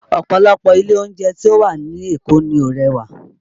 Ọ̀pọ̀lọpọ̀ ilé oúnjẹ tí ó wà ní Èkó ni ó rẹwà